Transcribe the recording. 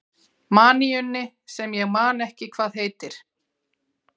maníunni sem ég man ekki hvað heitir.